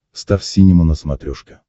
стар синема на смотрешке